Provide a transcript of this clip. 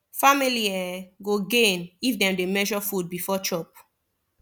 family um go gain if dem dey measure food before chop